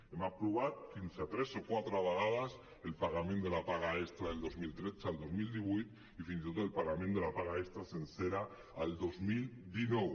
hem aprovat fins a tres o quatre vegades el pagament de la paga extra del dos mil tretze el dos mil divuit i fins i tot el pagament de la paga extra sencera el dos mil dinou